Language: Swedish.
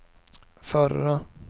förra